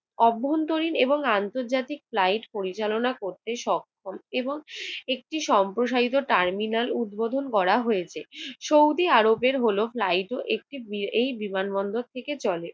অভ্যন্তরীণ এবং আন্তর্জাতিক ফ্লাইট পরিচালনা করতে সক্ষম এবং একটি সম্প্রসারিত টার্মিনাল উদ্বোধন করা হয়েছে। সৌদি আরবের হলো ফ্লাইট ও একটি~ এই বিমানবন্দর থেকে চলে।